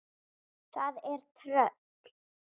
Það er tröll.